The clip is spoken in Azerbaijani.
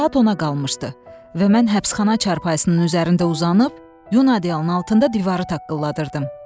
Saat ona qalmışdı və mən həbsxana çarpayısının üzərində uzanıb, Yunan əlının altında divarı taqqılladırdım.